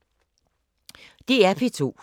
DR P2